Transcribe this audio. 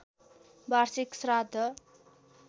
वाषिर्क श्राद्ध